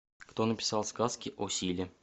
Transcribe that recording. кто написал сказки о силе